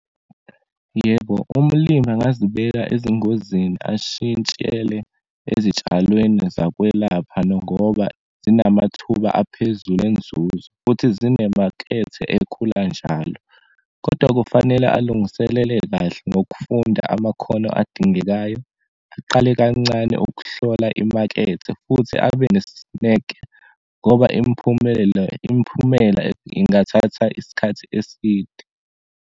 Yebo, umlimi angazibeka ezingozini ashintshele ezitshalweni zakwelapha, nongoba zinamathuba aphezulu enzuzo, futhi zinemakethe ekhula njalo. Kodwa kufanele alungiselele kahle nokufunda amakhono adingekayo, aqale kancane ukuhlola imakethe, futhi abenesineke ngoba imiphumelo, imiphumela ingathatha isikhathi eside.